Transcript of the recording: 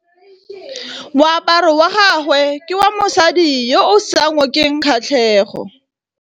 Moaparô wa gagwe ke wa mosadi yo o sa ngôkeng kgatlhegô.